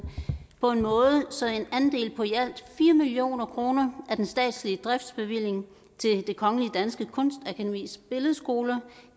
på en måde så en andel på i alt fire million kroner af den statslige driftsbevilling til det kongelige danske kunstakademis billedskoler